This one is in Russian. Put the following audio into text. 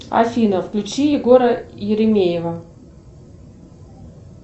афина включи егора еремеева